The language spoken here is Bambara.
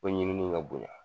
Fo ɲinini ka bonya.